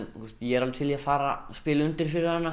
ég er alveg til í að fara og spila undir fyrir hana